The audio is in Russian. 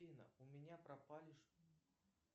афина у меня пропали